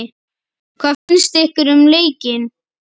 Hvað finnst ykkur um leikinn?